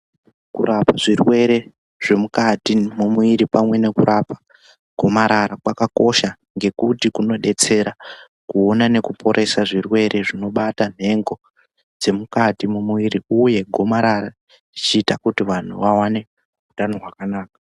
Kurapa zvirwere zvemukati mumwiri pamwe nekurapa gomarara kwakakosha. Ngekuti kunodetsera kuona nekuporesa zvirwere zvinobata nhengo dzemukati mumumwiri, uye gomarara uchita kuti vantu vaone hutano hwakanaka.